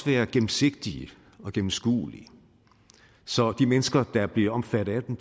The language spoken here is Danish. være gennemsigtige og gennemskuelige så de mennesker der bliver omfattet af dem